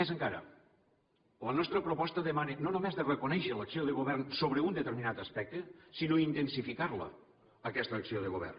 més encara la nostra proposta demana no només de reconèixer l’acció de govern sobre un determinat aspecte sinó intensificar la aquesta acció de govern